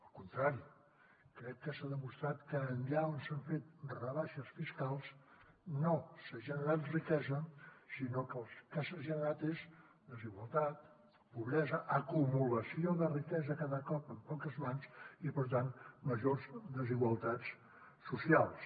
al contrari crec que s’ha demostrat que allà on s’han fet rebaixes fiscals no s’ha generat riquesa sinó que el que s’ha generat és desigualtat pobresa acumulació de riquesa cada cop en poques mans i per tant majors desigualtats socials